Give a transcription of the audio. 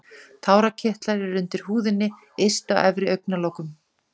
Tárakirtlar eru undir húðinni yst á efri augnlokum.